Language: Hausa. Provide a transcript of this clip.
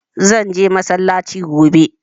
Zan je masallaci gobe